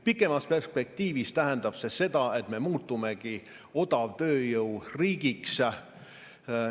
Pikemas perspektiivis tähendab see seda, et me muutumegi odavtööjõu riigiks.